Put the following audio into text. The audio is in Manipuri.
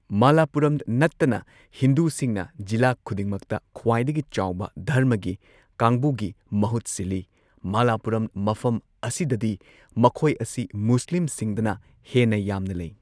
ꯃꯥꯂꯥꯄꯨꯔꯝ ꯅꯠꯇꯅ ꯍꯤꯟꯗꯨꯁꯤꯡꯅ ꯖꯤꯂꯥ ꯈꯨꯗꯤꯡꯃꯛꯇ ꯈ꯭ꯋꯥꯏꯗꯒꯤ ꯆꯥꯎꯕ ꯙꯔꯃꯒꯤ ꯀꯥꯡꯕꯨꯒꯤ ꯃꯍꯨꯠ ꯁꯤꯜꯂꯤ, ꯃꯂꯄꯨꯔꯥꯝ ꯃꯐꯝ ꯑꯁꯤꯗꯗꯤ ꯃꯈꯣꯏ ꯑꯁꯤ ꯃꯨꯁꯂꯤꯝꯁꯤꯡꯗꯅ ꯍꯦꯟꯅ ꯌꯥꯝꯅ ꯂꯩ꯫